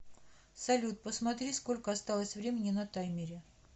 салют посмотри сколько осталось времени на таймере